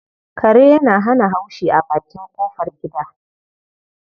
Kare yana haushi a bakin ƙofar gida.